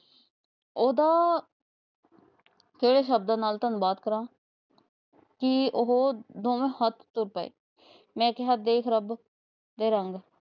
ਉਹਦਾ ਕਿਹੜੇ ਸ਼ਬਦਾਂ ਨਾਲ ਧੰਨਵਾਦ ਕਰਾ। ਕੀ ਉਹ ਦੋਵੇ ਹੱਥ ਤੁਰ ਪਏ। ਮੈ ਕਿਹਾ ਦੇਖ ਰੱਬ